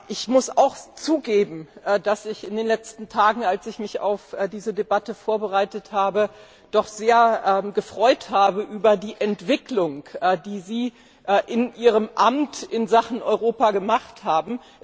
Ich muss zugeben, dass ich mich in den letzten Tagen, als ich mich auf diese Debatte vorbereitet habe, sehr gefreut habe über die Entwicklung, die Sie in Ihrem Amt in Sachen Europa gemacht haben.